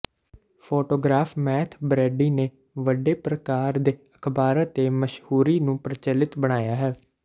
photographer Matthew Brady ਨੇ ਵੱਡੇ ਪ੍ਰਕਾਰ ਦੇ ਅਖਬਾਰਾਂ ਦੇ ਮਸ਼ਹੂਰੀ ਨੂੰ ਪ੍ਰਚਲਿਤ ਬਣਾਇਆ ਹੈ